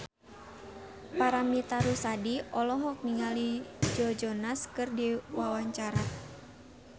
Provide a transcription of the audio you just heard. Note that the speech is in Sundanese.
Paramitha Rusady olohok ningali Joe Jonas keur diwawancara